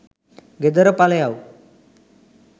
ගෙදර පලයව්.